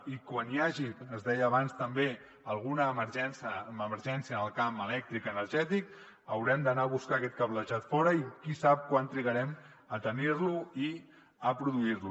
i quan hi hagi es deia abans també alguna emergència en el camp elèctric energètic haurem d’anar a buscar aquest cablejat fora i qui sap quan trigarem a tenir lo i a produir lo